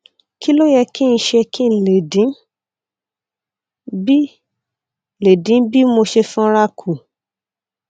kí ló yẹ kí n ṣe kí n lè dín bí lè dín bí mo ṣe sanra kù